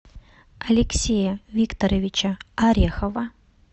алексея викторовича орехова